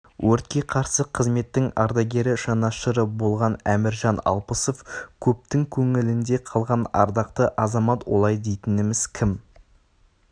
өртке қарсы қызметтің ардагері жанашыры болған әміржан алпысов көптің көңілінде қалған ардақты азамат олай дейтініміз кім